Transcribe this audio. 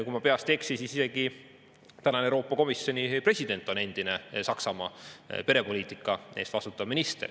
Kui ma peast ei eksi, siis isegi praegune Euroopa Komisjoni president on endine Saksamaa perepoliitika eest vastutanud minister.